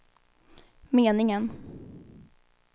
meningen